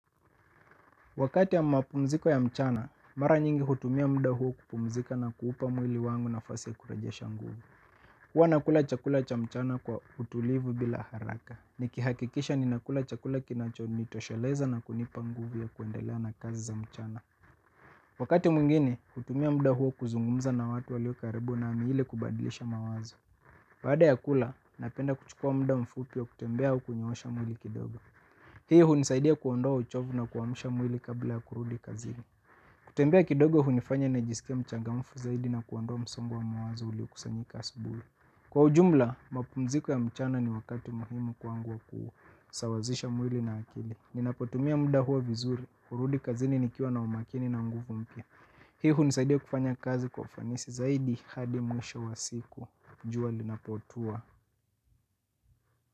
Wakati ya mapumziko ya mchana, mara nyingi hutumia mda huo kupumzika na kuupa mwili wangu nafasi ya kurajesha nguvu. Huwa nakula chakula cha mchana kwa utulivu bila haraka. Nikihakikisha ninakula chakula kinachonitosheleza na kunipa nguvu ya kuendelea na kazi za mchana. Wakati mwingine, hutumia mda huo kuzungumza na watu walio karibu nami ili kubadilisha mawazo. Baada ya kula, napenda kuchukua mda mfupi wa kutembea au kunyoosha mwili kidogo. Hii hunisaidia kuondoa uchovu na kuamsha mwili kabla ya kurudi kazini. Kutembea kidogo hunifanya nijisike mchangamfu zaidi na kuondoa msongo wa muwazo uliokusanyika asubui. Kwa ujumla, mapumziko ya mchana ni wakati muhimu kwangu wa kusawazisha mwili na akili. Ninapotumia muda huo vizuri, kurudi kazini nikiwa na umakini na nguvu mpya. Hii hunisaidia kufanya kazi kwa ufanisi zaidi hadi mwisho wa siku, jua linapotua.